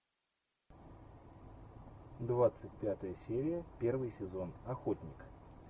двадцать пятая серия первый сезон охотник